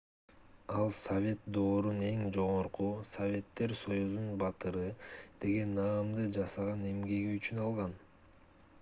ал совет доорунун эң жогорку советтер союзунун баатыры деген наамды жасаган эмгеги үчүн алган